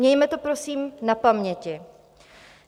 Mějme to prosím na paměti.